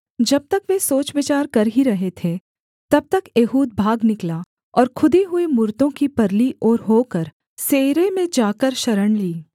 जब तक वे सोच विचार कर ही रहे थे तब तक एहूद भाग निकला और खुदी हुई मूरतों की परली ओर होकर सेइरे में जाकर शरण ली